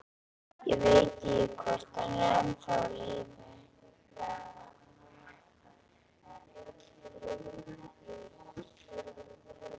Ég veit ekki, hvort hann er ennþá á lífi.